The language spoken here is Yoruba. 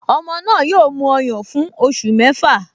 Ọmọ náà yóò mu ọyàn fún oṣù mẹ́fà